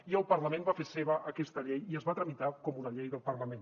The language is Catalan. i el parlament va fer seva aquesta llei i es va tramitar com una llei del parlament